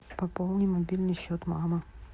пополни мобильный счет мамы